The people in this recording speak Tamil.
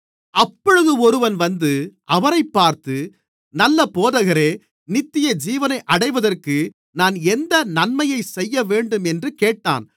அப்பொழுது ஒருவன் வந்து அவரைப் பார்த்து நல்ல போதகரே நித்தியஜீவனை அடைவதற்கு நான் எந்த நன்மையைச் செய்யவேண்டும் என்று கேட்டான்